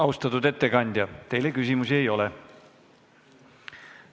Austatud ettekandja, teile küsimusi ei ole.